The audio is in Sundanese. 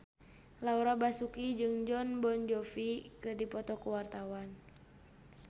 Laura Basuki jeung Jon Bon Jovi keur dipoto ku wartawan